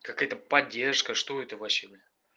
какая то поддержка что это вообще бля